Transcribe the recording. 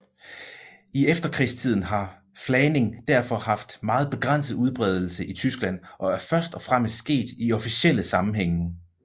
I efterkrigstiden har flagning derfor haft meget begrænset udbredelse i Tyskland og er først og fremmest sket i officielle sammenhænge